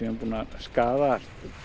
skaðað